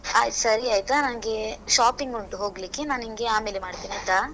ಆಯ್ತ್, ಸರಿ ಆಯ್ತಾ, ನನ್ಗೆ shopping ಉಂಟು ಹೋಗ್ಲಿಕ್ಕೆ, ನಾನ್ ನಿಂಗೆ ಆಮೇಲೆ ಮಾಡ್ತೇನೆ ಆಯ್ತಾ?